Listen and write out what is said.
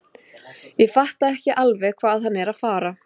Ég fatta ekki alveg hvað hann er að fara.